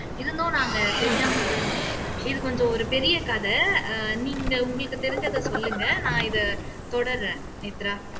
இருந்தும் நாங்க தெரியாம விழுந்துட்டோம் இது கொஞ்சம் ஒரு பெரிய கதை ஆஹ் நீங்க உங்களுக்கு தெரிஞ்சதை சொல்லுங்க நான் இதை தொடருறேன் நேத்ரா